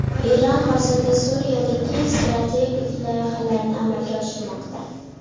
Eron hozirda Suriyada keng strategik loyihalarni amalga oshirmoqda.